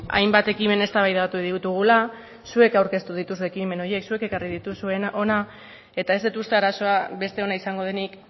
hainbat ekimen eztabaidatu ditugula zuek aurkeztu dituzue ekimen horiek zuek ekarri dituzue hona eta ez dut uste arazoa besteona izango denik